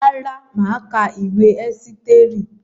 Rárá, mà á ka ìwé Ẹ́sítérì.